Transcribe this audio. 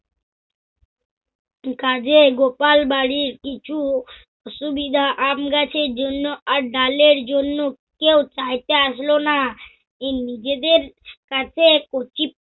কাজে গোপাল বাড়ীর কিছু সুবিধা আমগাছের জন্য আর ডালের জন্য কেও চাইতে আসল না। নিজেদের কাছে কচি